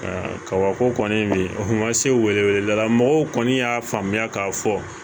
Aa kabako kɔni o ma se wele weleda la mɔgɔw kɔni y'a faamuya k'a fɔ